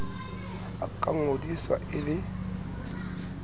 a ka ngodiswa e le